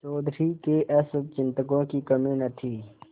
चौधरी के अशुभचिंतकों की कमी न थी